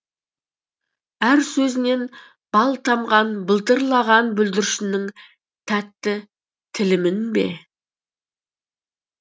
әр сөзінен бал тамған былдырлаған бүлдіршіннің тәтті тілімін бе